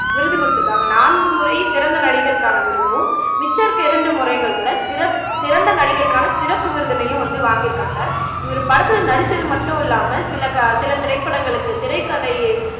விருது கொடுத்துருக்காங்க நான்கு முறை சிறந்த நடிகருக்கான விருதும் மிச்ச இருக்குற இரண்டு முறைகளில சிற சிறந்த நடிகருக்கான சிறப்பு விருதினையும் வந்து வாங்கிருக்காங்க இவர் படத்துல நடிச்சது மட்டும் இல்லாம சில க சில திரைப்படங்களுக்கு திரைக்கதை